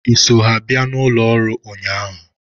Ị so ha bịa n'ụlọ ọrụ a ụnyaahụ?